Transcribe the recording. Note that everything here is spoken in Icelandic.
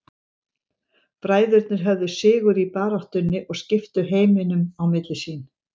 Bræðurnir höfðu sigur í baráttunni og skiptu heiminum á milli sín.